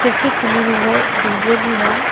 खिड़की खुली हुई है डी_जे भी है।